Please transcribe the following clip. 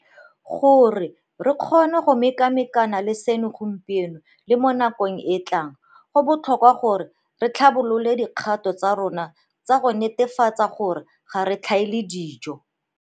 Gore re kgone go mekamekana le seno gompieno le mo nakong e e tlang, go botlhokwa gore re tlhabolole dikgato tsa rona tsa go netefatsa gore ga re tlhaele dijo.